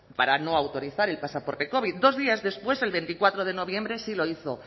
para no autorizar el pasaporte covid dos días después el veinticuatro de noviembre sí lo hizo